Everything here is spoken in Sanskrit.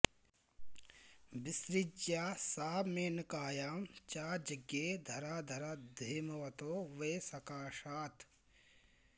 विसृज्य सा मेनकायां च जज्ञे धराधराद्धेमवतो वै सकाशात्